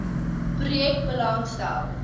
projek belang stel